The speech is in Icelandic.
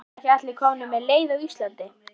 Nú sannast hið fornkveðna: Valt er veraldar gengið.